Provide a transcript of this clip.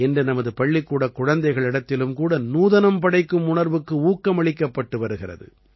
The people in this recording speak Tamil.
இன்று நமது பள்ளிக்கூடக் குழந்தைகளிடத்திலும் கூட நூதனம் படைக்கும் உணர்வுக்கு ஊக்கமளிக்கப்பட்டு வருகிறது